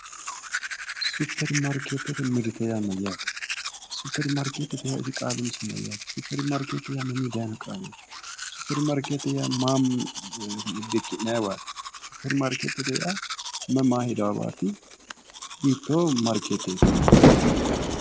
Superimaarkeetete mirte yaa mayyaate? Superimaarkeetete yaa qaalu umisi mayyaate? Superimaarkeetete yaa mamii daayiino qaaleeti? Superimaarkeete maa dikki'nanniwaati? Superimaarkeetete yaa mayi maa hiraawaati? hiittoo maarkeeteti?